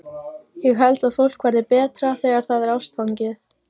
Ég held að fólk verði betra þegar það er ástfangið.